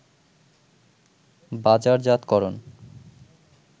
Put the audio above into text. বাজারজাতকরণ